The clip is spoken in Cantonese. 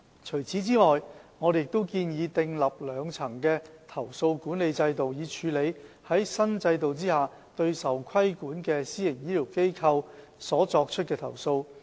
除此之外，我們亦建議訂立兩層的投訴管理制度，以處理在新制度下對受規管的私營醫療機構所作出的投訴。